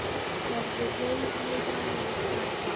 Verður rauð niður á mið læri.